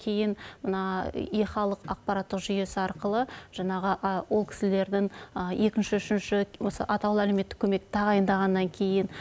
кейін мына е халық ақпараттық жүйесі арқылы жаңағы ол кісілердің екінші үшінші осы атаулы әлеуметтік көмекті тағайындағаннан кейін